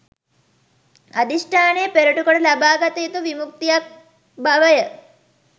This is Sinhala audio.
අධිෂ්ඨානය පෙරටු කොට ලබාගත යුතු විමුක්තියක් බව ය.